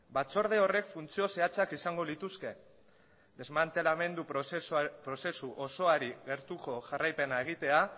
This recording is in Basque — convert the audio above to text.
batzorde horrek funtzio zehatzak izango lituzke desmantelamendu prozesu osoari gertuko jarraipena egitea